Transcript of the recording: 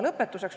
Lõpetuseks.